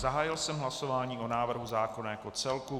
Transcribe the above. Zahájil jsem hlasování o návrhu zákona jako celku.